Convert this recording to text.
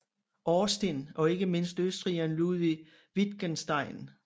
Austin og ikke mindst østrigeren Ludwig Wittgenstein